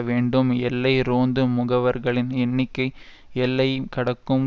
வேண்டும் எல்லை ரோந்து முகவர்களின் எண்ணிக்கை எல்லை கடக்கும்